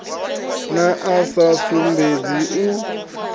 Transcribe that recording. na a sa sumbedzi u